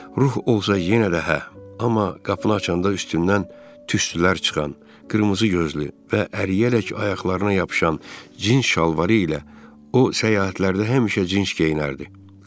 Ruh olsa yenə də hə, amma qapını açanda üstündən tüstülər çıxan, qırmızı gözlü və əriyərək ayaqlarına yapışan cins şalvarı ilə o səyahətlərdə həmişə cins geyinərdi.